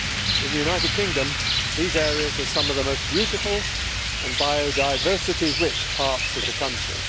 In the United Kingdom these areas are some of the most beautiful and biodiversity rich parts of the country.